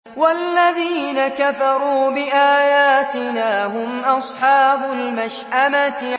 وَالَّذِينَ كَفَرُوا بِآيَاتِنَا هُمْ أَصْحَابُ الْمَشْأَمَةِ